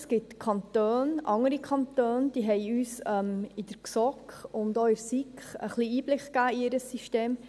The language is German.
Es gibt Kantone, andere Kantone, die uns in der GSoK und auch in der SiK ein wenig Einblick gaben in ihr System.